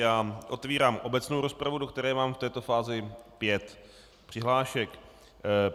Já otvírám obecnou rozpravu, do které mám v této fázi pět přihlášek.